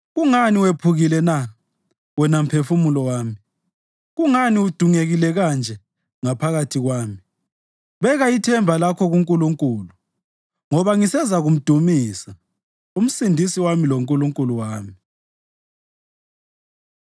Kungani wephukile na, wena mphefumulo wami? Kungani udungekile kanje ngaphakathi kwami? Beka ithemba lakho kuNkulunkulu, ngoba ngisezakumdumisa, uMsindisi wami loNkulunkulu wami.